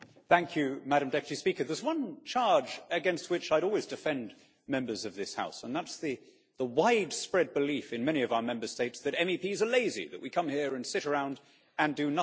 Madam President, there is one charge against which I would always defend members of this House, and that is the widespread belief in many of our Member States that MEPs are lazy that we come here and sit around and do nothing.